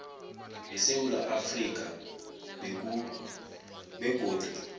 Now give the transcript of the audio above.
esewula afrika begodu